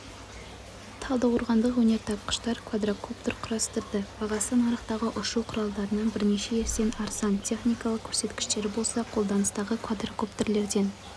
талдықорғандық өнертапқыштар квадрокоптер құрастырды бағасы нарықтағы ұшу құралдарынан бірнеше есе арзан техникалық көрсеткіштері болса қолданыстағы квадрокоптерлерден